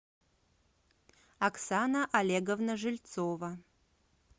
оксана олеговна жильцова